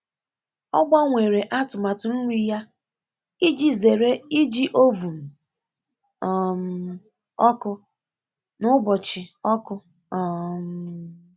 O gbanwere atụmatụ nri ya iji zere iji oven um ọkụ na ụbọchị ọkụ. um